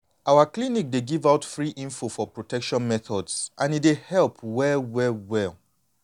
our clinic dey give out free info for protection methods and e really dey help well well well.